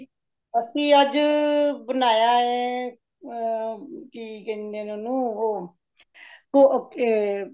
ਅਸੀ ਅੱਜ ਬਨਾਯਾ ਹੇ, ਅ ਕੀ ਕਹਿੰਦੇ ਨੇ ਓਨੁ ਉਹ